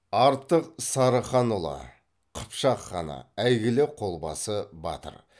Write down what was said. артық сарыханұлы қыпшақ ханы әйгілі қолбасы батыр